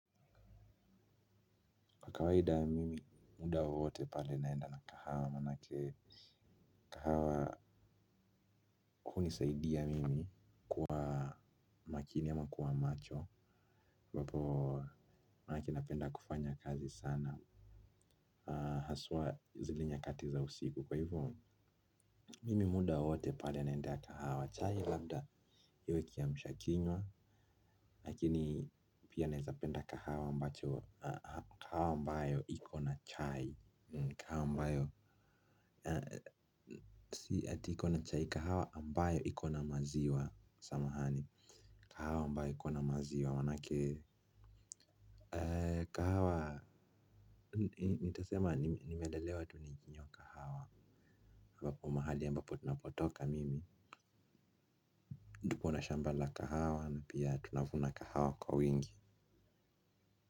Kwa kawaida mimi muda wowote pale naenda na kahawa maanake kahawa hunisaidia mimi kuwa makini ama kuwa macho ambapo, maanake napenda kufanya kazi sana haswa zile nyakati za usiku. Kwa hivyo mimi muda wowote pale naendea kahawa. Chai labda iwe kiamsha kinywa. Lakini pia naeza penda kahawa ambayo ikona chai. Kahawa ambayo ati ikona chai. Kahawa ambayo ikona maziwa samahani. Kahawa ambayo ikona maziwa maanake kahawa. Nitasema nimelelewa tu nikinywa kahawa. Ambapo mahali ambapo ninapotoka mimi tuko na shamba la kahawa na pia tunavuna kahawa kwa wingi.